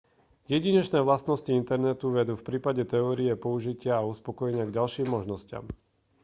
jedinečné vlastnosti internetu vedú v prípade teórie použitia a uspokojenia k ďalším možnostiam